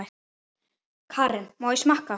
Karen: Má ég smakka?